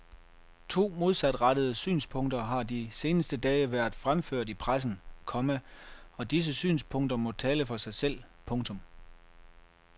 To modsatrettede synspunkter har de seneste dage været fremført i pressen, komma og disse synspunkter må tale for sig selv. punktum